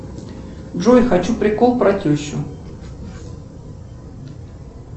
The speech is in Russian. джой хочу прикол про тещу